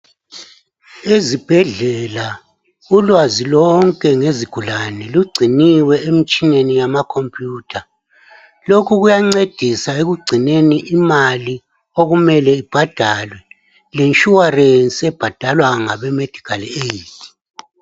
Izibhedlela, ulwazi lonke ngezigulane lugciniwe emtshineni yamacomputer. Lokhu kuyancedisa, ekugcineni imali okumele ibhadalwe. Le insuarance okumele ibhadalwe ngabeMedical aid.